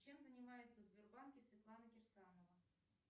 чем занимается в сбербанке светлана кирсанова